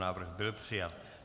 Návrh byl přijat.